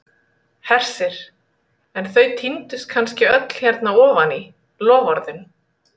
Hersir: en þau týndust kannski öll hérna ofan í, loforðin?